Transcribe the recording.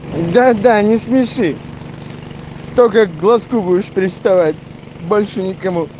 да да не смеши только к глазку будешь приставать больше ни к кому